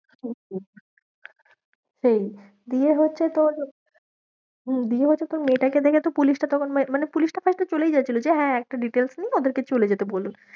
হম হম দিয়ে হচ্ছে তোর হম দিয়ে হচ্ছে তোর মেয়েটাকে দেখে তো পুলিশটা তখন মানে পুলিশটা first এ চলেই যাচ্ছিলো যে হ্যাঁ, একটা details নিয়ে ওদেরকে চলে যেতে বলুন।